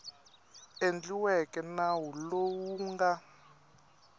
endliweke nawu lowu wu nga